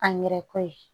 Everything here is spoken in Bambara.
A nɛrɛ ko ye